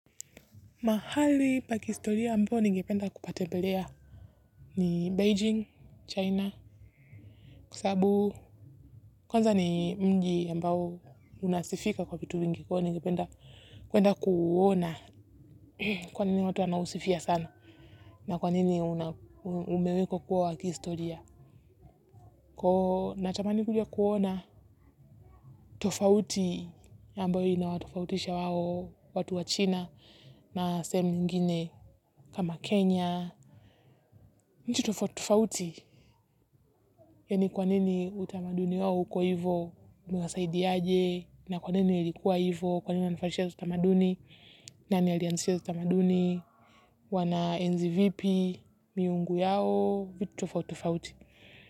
Mahali pa kihistoria ambayo ningependa kupatembelea ni Beijing, China. Kwa sababu kwanza ni mji ambao unasifika kwa vitu vingi kwa hiyo ningependa kwenda kuona, kwa nini watu anausifia sana na kwa nini umewekwa kuwa wa kihistoria. Natamani kuja kuona tofauti ambayo ina watofautisha hao watu wa China na sehemu nyingine kama Kenya. Nchi tofauti tofauti, yaani kwa nini utamaduni wao uko hivo, niwasaidiaje. Na kwa nini ilikuwa hivyo kwa nini wanafanyishi utamaduni. Nani alianzisha utamaduni. Wana enzi vipi miungu yao, vitu tofauti tofauti.